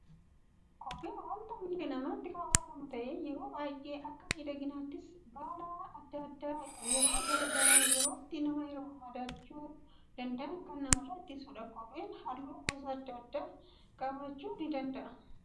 Kopheen waanta miila namaatti keewwatamu ta'ee, yeroo baayyee akka miidhaginaattis, balaa addaa addaa yeroo gara yerootti nama mudachuu danda'an kan nama irraa ittisudha. Kopheen halluu gosa addaa addaa qabaachuu danda'a.